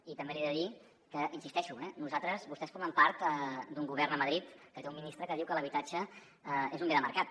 i també li he de dir que hi insisteixo eh vostès formen part d’un govern a madrid que té un ministre que diu que l’habitatge és un bé de mercat